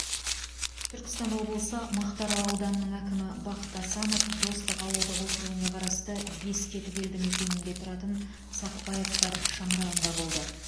түркістан облысы мақтаарал ауданының әкімі бақыт асанов достық ауылдық округіне қарасты бескетік елдімекенінде тұратын сақбаевтар шаңырағында болды